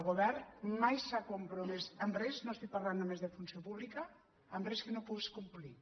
el govern mai s’ha compromès en res no estic parlant només de funció pública que no pogués complir